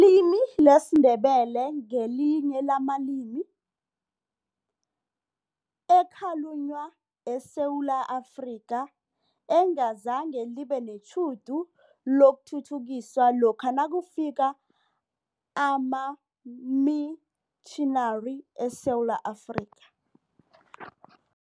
limi lesiNdebele ngelinye lamalimi ekhalunywa eSewula Afrika, engazange libe netjhudu lokuthuthukiswa lokha nakufika amamitjhinari eSewula Afrika.